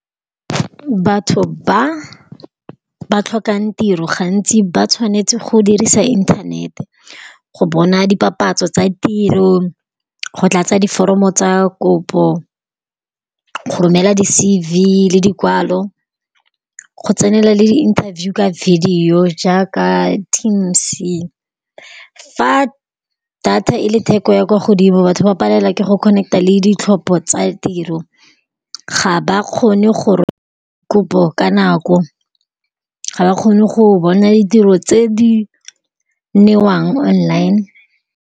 Batho ba ba tlhokang tiro, gantsi ba tshwanetse go dirisa internet-e go bona dipapatso tsa tiro, go tlatsa diforomo tsa kopo, go romela di-C_V le dikwalo, go tsenela le interview ka video jaaka Teams. Fa data e le theko ya kwa godimo, batho ba palelwa ke go connect-a le ditlhopha tsa tiro, ga ba kgone kopo ka nako, ga ba kgone go bona ditiro tse di newang online.